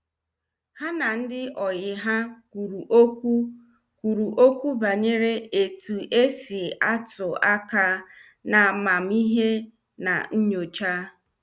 Ha na ndị oyi ha kwuru okwu kwuru okwu banyere etu esi atụ aka na amamihe na nyocha.